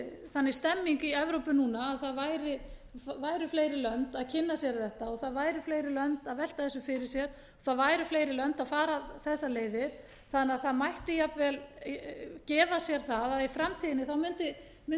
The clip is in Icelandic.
þannig stemning í evrópu núna að það væru fleiri lönd að kynna sér þetta og það væru fleiri lönd að velta þessu fyrir sér og það væru fleiri lönd að fara þessar leiðir þannig að það mætti jafnvel gefa sér það að í framtíðinni mundi kostnaður vegna